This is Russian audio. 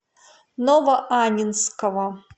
новоаннинского